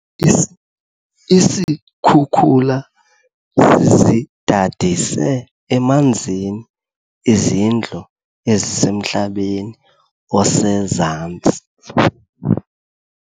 Isikhukula sizidadise emanzini izindlu ezisemhlabeni osezantsi.